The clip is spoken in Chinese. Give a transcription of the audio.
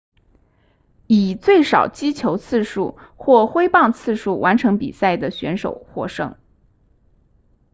以最少击球次数或挥棒次数完成比赛的选手获胜